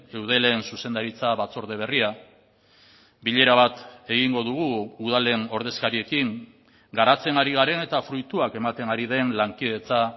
eudelen zuzendaritza batzorde berria bilera bat egingo dugu udalen ordezkariekin garatzen ari garen eta fruituak ematen ari den lankidetza